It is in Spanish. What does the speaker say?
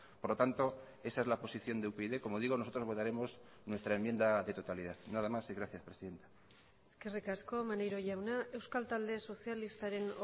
por lo tanto esa es la posición de upyd como digo nosotros votaremos nuestra enmienda de totalidad nada más y gracias presidenta eskerrik asko maneiro jauna euskal talde sozialistaren